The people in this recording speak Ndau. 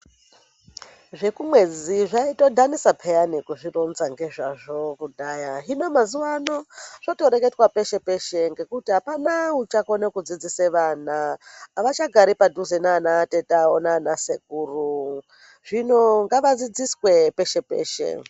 Zvekumwedzi zvaitodhanisa peyani kuzvironza ngezvazvo kudhaya. Hino mazuvano zvotoreketwa peshe-peshe ngekuti hapana uchakone kudzidzise vana havachagari padhuze naanatete avo naanasekuru. Zvino ngavadzidziswe peshe-peshe.